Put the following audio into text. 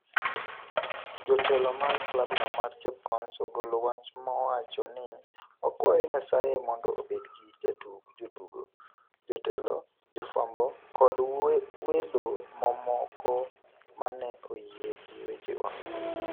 Jotelo mag klab no mar Chapecoense ogolo wach mowacho ni: "Wakwayo Nyasaye mondo obed gi jotugo, jotelo, jofwambo kod welo momoko mane oyie gi wechewa."